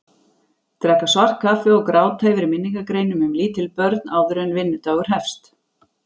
Drekka svart kaffi og gráta yfir minningargreinum um lítil börn áður en vinnudagur hefst.